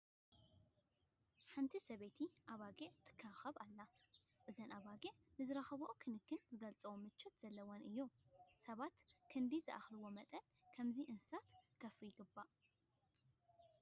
ሓንቲ ሰበይቲ ኣባጊዕ ትንከባኸብ ኣላ፡፡ እዘን ኣባጊዕ ንዝረኽብኦ ክንክን ዝገልፅ ምቾት ዘለወን እየን፡፡ ሰባት ክንድ ዝኸኣልዎ መጠን ብኸምዚ እንስሳት ከፍርዩ ይግባእ፡፡